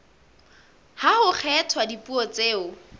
ha ho kgethwa dipuo tseo